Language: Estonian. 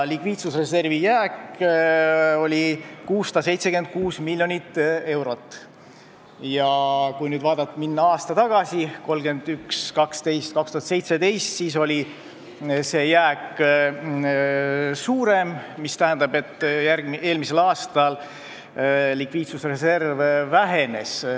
Likviidsusreservi jääk oli 676 miljonit eurot, aga kui minna tagasi, siis 2017. aasta 31. detsembril oli see suurem, mis tähendab, et eelmisel aastal likviidsusreserv vähenes.